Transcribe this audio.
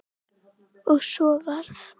Og svo varð.